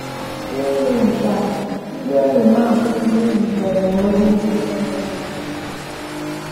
N’ihi nke a, ndị enyi m akwụsiwo izitere m ozi ndị na - enweghị isi.